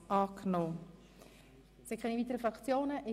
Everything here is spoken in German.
Ich sehe keine weiteren Wortmeldungen seitens der Fraktionen.